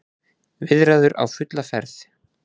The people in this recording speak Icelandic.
Viðræður á fulla ferð